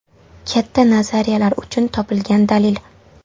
Katta nazariyalar uchun topilgan dalil.